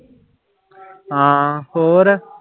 ਹਾਂ ਹੋਰ।